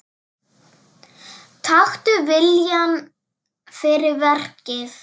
Taktu viljann fyrir verkið.